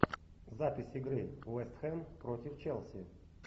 запись игры вест хэм против челси